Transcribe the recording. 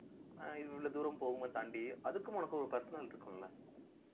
ஆஹ் இவ்வளவு தூரம் போகும் போது தாண்டி அதுக்கும் உனக்கும் ஒரு personal இருக்கும் இல்ல